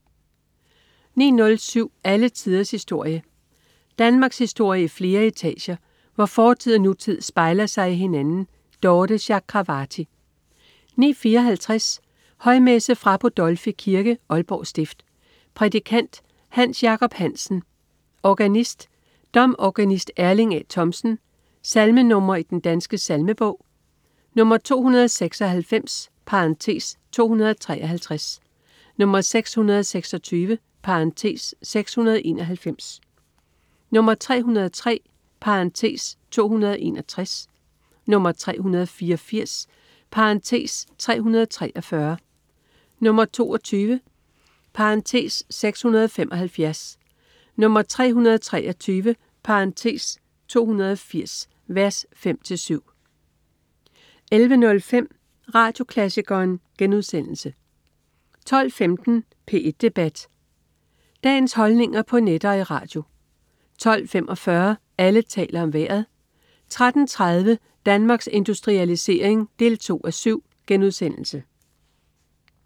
09.07 Alle tiders historie. Danmarkshistorie i flere etager, hvor fortid og nutid spejler sig i hinanden. Dorthe Chakravarty 09.54 Højmesse. Fra Budolfi Kirke, Aalborg stift. Prædikant: Hans Jacob Hansen. Organist: Domorganist Erling A. Thomsen. Salmenr. i Den Danske Salmebog: 296 (253), 626 (691), 303 (261), 384 (343), 22 (675), 323 (280) v. 5-7 11.05 Radioklassikeren* 12.15 P1 Debat. Dagens holdninger på net og i radio 12.45 Alle taler om Vejret 13.30 Danmarks Industrialisering 2:7*